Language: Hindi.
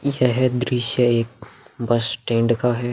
यह दृश्य एक बस स्टैंड का है।